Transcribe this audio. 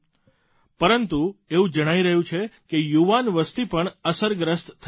પરંતુ એવું જણાઇ રહ્યું છે કે યુવાન વસતિ પણ અસરગ્રસ્ત થઇ રહી છે